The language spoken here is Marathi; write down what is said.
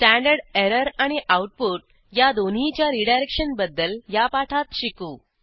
स्टँडर्ड एरर आणि आऊटपुट या दोन्हीच्या रीडायरेक्शन बद्दल या पाठात शिकू